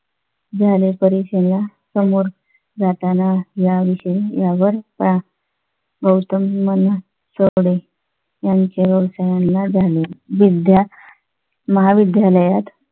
झाले परीक्षण या समोर जाताना या विषयावर पळा गौतम म्हणाला सर्व कडे त्यांच्या व्यवसायाला झाली विद्या महाविद्यालयात